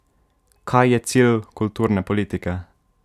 Kaj je cilj kulturne politike?